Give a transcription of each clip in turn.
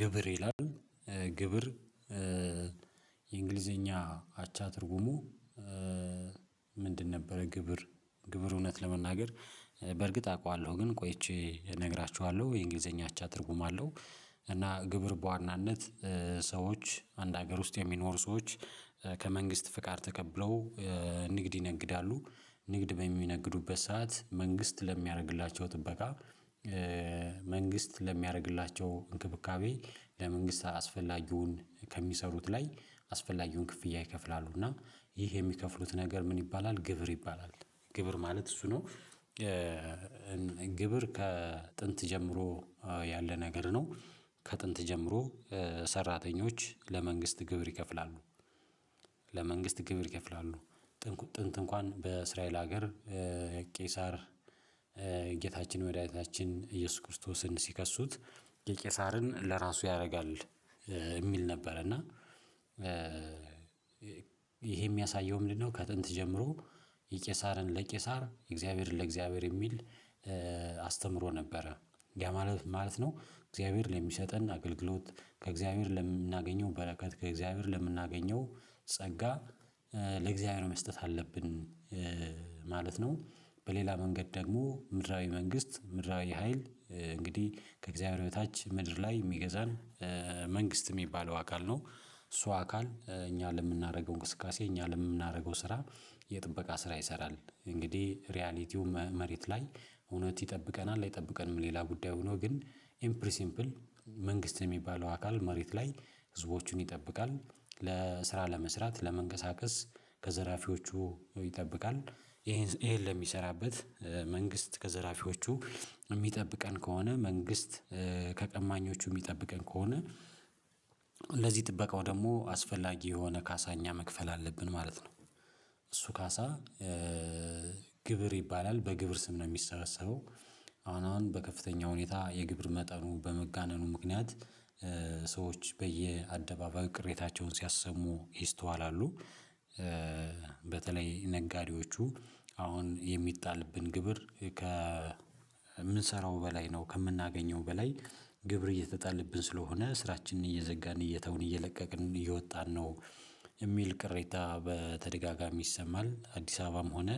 ግብር ይላል ግብር የእንግሊዘኛ አቻ ትርጉሙ ምንድን ነበረ ግብር ግብር እውነት ለመናገር በእርግጥ አውቃለሁ ግን ቆይቼ እነግራችኋለሁ የእንግሊዘኛ አቻ ትርጉም አለው፤ እና ግብር በዋናነት ሰዎች አንድ ሀገር ውስጥ የሚኖሩ ሰዎች፤ ከመንግስት ፍቃድ ተቀብለው ንግድ ይነግዳሉ ንግድ በሚነግዱበት ሰዓት መንግስት ለሚያደርግላቸው ጥበቃ መንግስት ለሚያደርግላቸው እንክብካቤ ለመንግስት አስፈላጊውን ከሚሰሩት ላይ አስፈላጊውን ክፍያ ይከፍላሉ እና ይህ የሚከፍሉት ነገር ምን ይባላል ግብር ይባላል ግብር ማለት እሱ ነው ግብር ከጥንት ጀምሮ ያለ ነገር ነው፤ ከጥንት ጀምሮ ሰራተኞች ለመንግስት ግብር ይከፍላሉ። ለመንግስት ግብር ይከፍላሉ ጥንት እንኳን በእስራኤል ሀገር ቄሳር ጌታችን ወደ አይነታችን ኢየሱስ ክርስቶስን ሲከሱት የቄሳርን ለራሱ ያደርጋል የሚል ነበር እና ይሄ የሚያሳየው ምንድነው ከጥንት ጀምሮ የቄሳርን ለቄሳር የእግዚአብሔርን ለእግዚአብሔር የሚል አስተምሮ ነበረ ያ ማለት ማለት ነው እግዚአብሔር ለሚሰጠን አገልግሎት ከእግዚአብሔር ለምናገኘው በረከት ከእግዚአብሔር ለምናገኘው ጸጋ ለእግዚአብሔር መስጠት አለብን ማለት ነው፤ በሌላ መንገድ ደግሞ ምድራዊ መንግስት ምድራዊ ሀይል እንግዲህ ከእግዚአብሔር በታች ምድር ላይ የሚገዛን መንግስት የሚባለው አካል ነው እሱ አካል እኛ ለምናደርገው እንቅስቃሴ እኛ ለምናደርገው ስራ የጥበቃ ስራ ይሰራል እንግዲህ ሪያሊቲው መሬት ላይ እውነት ይጠብቀናል አይጠብቀንም ሌላ ጉዳዩ ሆኖ ግን ኢምፕሪ ሲምፕል መንግስት የሚባለው አካል ማድሪድ ላይ ህዝቦቹን ይጠብቃል ለስራ ለመስራት ለመንቀሳቀስ ከዘራፊዎቹ ይጠብቃል ይሄን ይሄን ለሚሰራበት መንግስት ከዘራፊዎቹ የሚጠብቀን ከሆነ መንግስት ከቀማኞቹ የሚጠብቀን ከሆነ ለዚህ ጥበቃው ደግሞ አስፈላጊ የሆነ ካሳ እኛ መክፈል አለብን ማለት ነው እሱ ካሳ ግብር ይባላል በግብር ስም ነው የሚሰበሰበው አሁን አሁን በከፍተኛ ሁኔታ የግብር መጠኑ በመጋነኑ ምክንያት ሰዎች በየአደባባይ ቅሬታቸውን ሲያሰሙ ይስተዋላሉ፤ በተለይ ነጋዴዎቹ አሁን የሚጣልብን ግብር ከምንሰራው በላይ ነው ከምናገኘው በላይ ግብር እየተጣለብን ስለሆነ ስራችንን እየዘጋን እየተውን እየለቀቅን እየወጣን ነው የሚል ቅሬታ በተደጋጋሚ ይሰማል፤ አዲስ አበባም ሆነ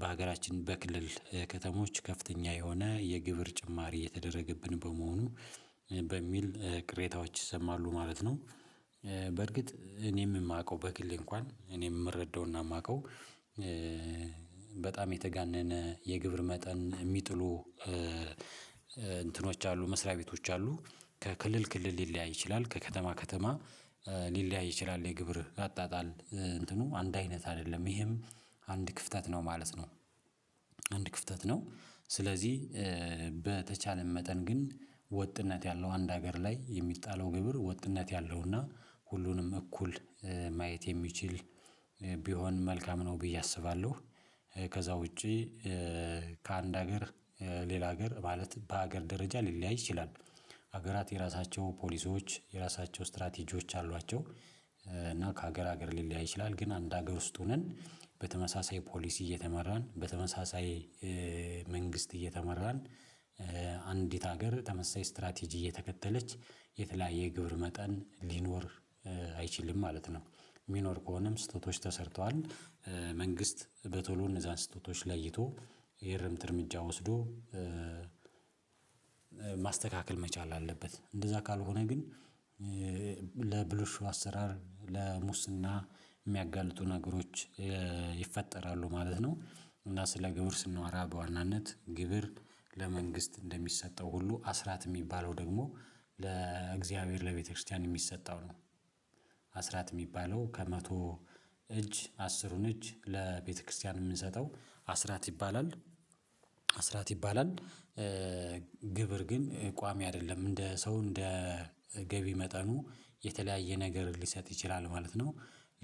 በሀገራችን በክልል ከተሞች ከፍተኛ የሆነ የግብር ጭማሪ እየተደረገብን በመሆኑ በሚል ቅሬታዎች ይሰማሉ ማለት ነው በርግጥ እኔም የማውቀው በግሌ እንኳን እኔም የምረዳውና የማውቀው በጣም የተጋነነ የግብር መጠን የሚጥሉ እንትኖች አሉ መስሪያ ቤቶች አሉ ከክልል ክልል ሊለያይ ይችላል ከከተማ ከተማ ሊለያይ ይችላል የግብር አጣጣል እንትኑ አንድ አይነት አይደለም ይሄም አንድ ክፍተት ነው ማለት ነ፤ አንድ ክፍተት ነው ስለዚህ በተቻለን መጠን ግን ወጥነት ያለው አንድ ሀገር ላይ የሚጣለው ግብር ወጥነት ያለውና ሁሉንም እኩል ማየት የሚችል ቢሆን መልካም ነው ብዬ አስባለሁ ከዛ ውጪ ከአንድ ሀገር ሌላ ሀገር ማለት በሀገር ደረጃ ሊለያይ ይችላል ሀገራት የራሳቸው ፖሊሶች የራሳቸው ስትራቴጂዎች አሏቸው እና ከሀገር ሀገር ሊለያይ ይችላል ግን አንድ ሀገር ውስጥ ሆነን በተመሳሳይ ፖሊስ እየተመራን በተመሳሳይ መንግስት እየተመራን አንዲት ሀገር ተመሳሳይ ስትራቴጂ እየተከተለች የተለያየ ግብር መጠን ሊኖር አይችልም ማለት ነው የሚኖር ከሆነም ስህተቶች ተሰርተዋል፤ መንግስት በቶሎ እነዛን ስህተቶች ለይቶ የእርምት እርምጃ ወስዶ ማስተካከል መቻል አለበት እንደዛ ካልሆነ ግን ለብልሹ አሰራር ለሙስና የሚያጋልጡ ነገሮች ይፈጠራሉ ማለት ነው፤ እና ስለ ግብር ስንዋራ በዋናነት ግብር ለመንግስት እንደሚሰጠው ሁሉ አስራት የሚባለው ደግሞ ለእግዚአብሔር ለቤተክርስቲያን የሚሰጠው ነው አስራት የሚባለው ከመቶ እጅ አስሩን እጅ ለቤተክርስቲያን የምንሰጠው አስራት ይባላል አስራት ይባላል ግብር ግን ቋሚ አይደለም እንደ ሰው እንደ ገቢ መጠኑ የተለያየ ነገር ሊሰጥ ይችላል ማለት ነው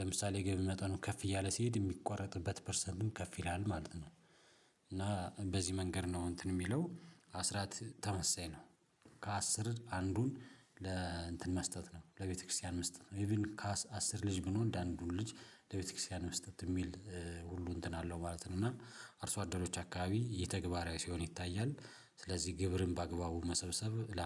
ለምሳሌ ገቢ መጠኑ ከፍ እያለ ሲሄድ የሚቋረጥበት ፐርሰንቱን ከፍ ይላል ማለት ነው እና በዚህ መንገድ ነው እንትን የሚለው አስራት ተመሳሳይ ነው ከአስር አንዱን ለእንትን መስጠት ነው ለቤተክርስቲያን መስጠት ነው ኢቭን ከአስር ልጅ ቢኖር እንደ አንዱ ልጅ ለቤተክርስቲያን መስጠት የሚል ሁሉ እንትን አለው ማለት ነው እና አርሶ አደሮች አካባቢ ይህ ተግባራዊ ሲሆን ይታያል ስለዚህ ግብርን በአግባቡ መሰብሰብ